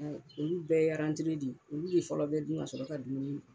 Olu bɛɛ de ye olu de fɔlɔ bɛ dun kasɔrɔ ka dumuni kɛ